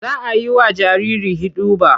Za a yi wa jariri hiɗuba.